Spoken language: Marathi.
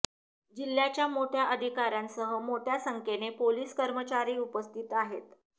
जिल्ह्याच्या मोठ्या अधिकाऱ्यांसह मोठ्या संख्येने पोलीस कर्मचारी उपस्थित आहेत